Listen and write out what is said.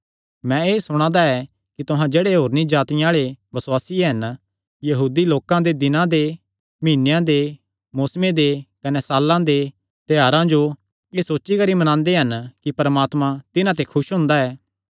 मैं एह़ सुणा दा ऐ कि तुहां जेह्ड़े होरनी जातिआं आल़े बसुआसी हन यहूदी लोकां दे दिनां दे मीहनेयां दे मौसमे दे कने साल्लां दे त्योहारां जो एह़ सोची करी मनांदे हन कि परमात्मा तिन्हां ते खुस हुंदा ऐ